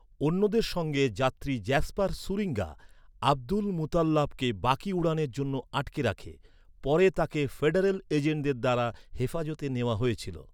অন্যদের সঙ্গে যাত্রী জ্যাসপার শুরিঙ্গা, আব্দুলমুতাল্লাবকে বাকি উড়ানের জন্য আটকে রাখে। পরে তাকে ফেডারেল এজেন্টদের দ্বারা হেফাজতে নেওয়া হয়েছিল।